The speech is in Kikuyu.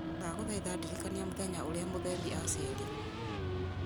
ndagũthaitha ndirikania mũthenya ũrĩa muthemi aciarirwo